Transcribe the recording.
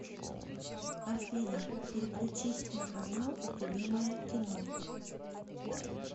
афина переключить на канал любимое кино